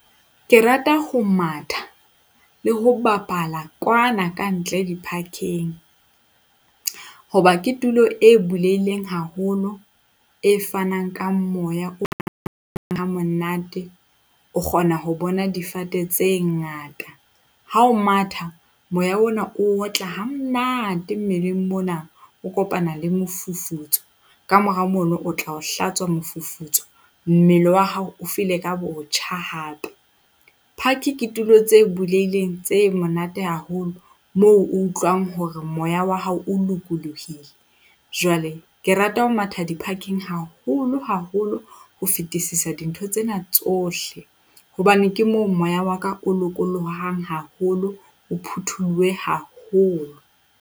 Ke rata ho matha le ho bapala kwana kantle, di-park-eng. Hoba ke tulo e bulehileng haholo, e fanang ka moya o ha monate. O kgona ho bona difate tse ngata ha o matha moya ona o otla hamonate mmeleng mona, o kopana le mofufutso. Ka mora mono o tla o hlatswa mofufutso. Mmele wa hao o ka botjha hape. Park ke tulo tse bulehileng tse monate haholo moo o utlwang hore moya wa hao o lokolohile, jwale ke rata ho matha di-park-eng haholo haholo ho fetisisa dintho tsena tsohle, hobane ke moo moya wa ka o lokolohang haholo, o phutholohe haholo.